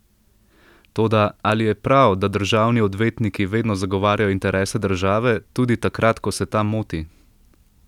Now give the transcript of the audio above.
Toda, ali je prav, da državni odvetniki vedno zagovarjajo interese države, tudi takrat, ko se ta moti?